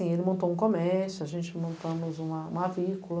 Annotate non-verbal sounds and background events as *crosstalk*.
Ele montou um comércio, a gente montamos uma uma. *unintelligible*